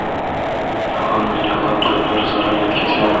yong‘in millionlab dollar zarar yetkazgan.